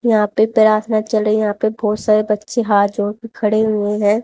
यहां पे प्रार्थना चल रही यहां पे बहोत सारे बच्चे हाथ जोड़ के खड़े हुए हैं।